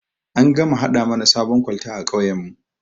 An gama gama haɗa mana sabon kwalta a kauyan mu